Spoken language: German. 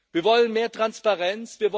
Wir wollen mehr Transparenz.